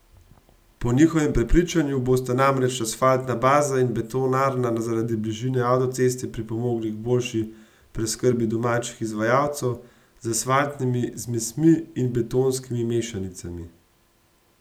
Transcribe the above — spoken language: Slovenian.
Po njihovem prepričanju bosta namreč asfaltna baza in betonarna zaradi bližine avtoceste pripomogli k boljši preskrbi domačih izvajalcev z asfaltnimi zmesmi in betonskimi mešanicami.